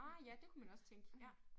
Ah ja det kunne man også tænke ja